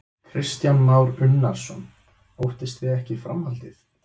Kristján Már Unnarsson: Óttist þið ekki framhaldið?